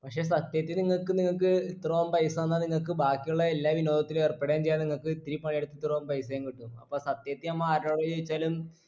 പക്ഷെ സത്യത്തി നിങ്ങക്ക് നിങ്ങൾക്ക് ഇത്രോം പൈസ തന്നാ നിങ്ങക്ക് ബാക്കിയുള്ള എല്ലാ വിനോദത്തിലും ഏർപ്പെടേം ചെയ്യാ നിങ്ങക്ക് ഇത്തിരി പണിയെടുത്ത ഇത്രോ പൈസേം കിട്ടും അപ്പൊ സത്യത്തി നമ്മൊ ആരോട് ചോയ്ച്ചാലും